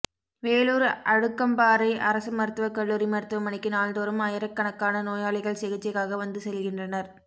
வேலூா் அடுக்கம்பாறை அரசு மருத்துவக் கல்லூரி மருத்துவமனைக்கு நாள்தோறும் ஆயிரக்கணக் கான நோயாளிகள் சிகிச்சைக்காக வந்து செல்கின்றனா்